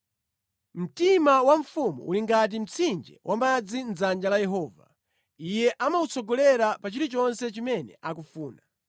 Mtima wa mfumu uli ngati mtsinje wamadzi mʼdzanja la Yehova; Iye amautsongolera pa chilichonse chimene akufuna.